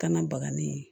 Kana baga ni